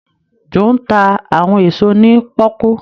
Joe nta àwọn èso ní poku.